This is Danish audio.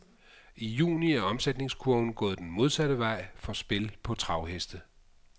I juni er omsætningskurven gået den modsatte vej for spil på travheste.